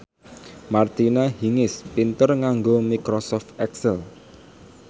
Martina Hingis pinter nganggo microsoft excel